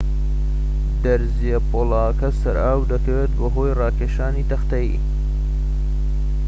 دەرزیە پۆڵاکە سەر ئاو دەکەوێت بەهۆی ڕاکێشانی تەختەیی